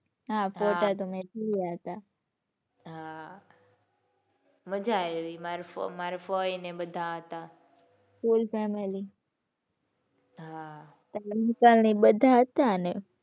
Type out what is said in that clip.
હાં ફોટા તો મે જોયા હતા. હાં મજા આયી માર ફઈ ફઈ ને એ બધા હતા. full family હાં એટલે બધા હતા ને.